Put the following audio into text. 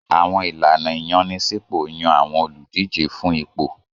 Àwọn ìlànà ìyànsípò yàn àwọn olùdíje fún ipò.